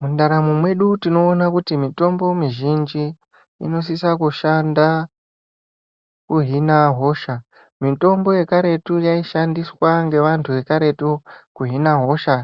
Mundaramo mwedu tinoona kuti mitombo mizhinji inosisa kushanda kuhina hosha mitombo yekaretu yaishandiswa ngevantu vekaretu kuhina hosha